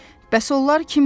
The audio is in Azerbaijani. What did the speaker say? Bəs onlar kimdir?